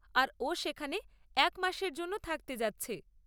আর ও সেখানে এক মাসের জন্য থাকতে যাচ্ছে।